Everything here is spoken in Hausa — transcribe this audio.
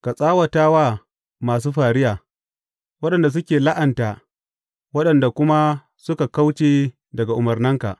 Ka tsawata wa masu fariya, waɗanda suke la’anta waɗanda kuma suka kauce daga umarnanka.